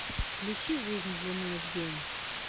включи жизнь длинною в день